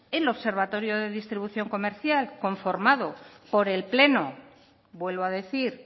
el observatorio de distribución comercial conformado por el pleno vuelvo a decir